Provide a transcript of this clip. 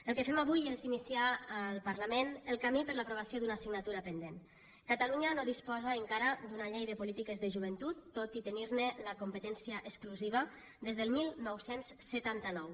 el que fem avui és iniciar al parlament el camí per a l’aprovació d’una assignatura pendent catalunya no disposa encara d’una llei de polítiques de joventut tot i tenir ne la competència exclusiva des del dinou setanta nou